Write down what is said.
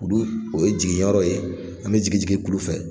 Kulu in, o ye jiginyɔrɔ ye. An bɛ jigin jigin kulu fɛ